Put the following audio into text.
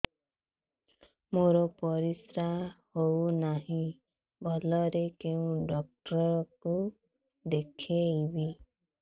ମୋର ପରିଶ୍ରା ହଉନାହିଁ ଭଲରେ କୋଉ ଡକ୍ଟର କୁ ଦେଖେଇବି